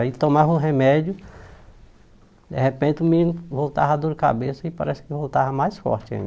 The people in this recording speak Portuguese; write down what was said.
Aí tomava o remédio, de repente o menino voltava a dor de cabeça e parece que voltava mais forte ainda.